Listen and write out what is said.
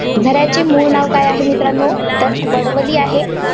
झऱ्याचे मूळ नाव काय आहे, मित्रांनो? तर वडवली आहे.